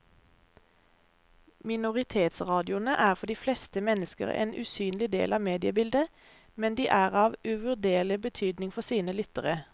Minoritetsradioene er for de fleste mennesker en usynlig del av mediebildet, men de er av uvurderlig betydning for sine lyttere.